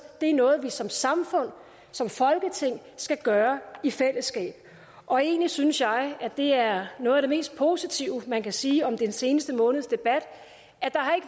det er noget vi som samfund som folketing skal gøre i fællesskab og egentlig synes jeg at det er noget af det mest positive man kan sige om den seneste måneds debat